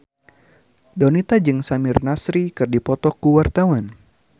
Donita jeung Samir Nasri keur dipoto ku wartawan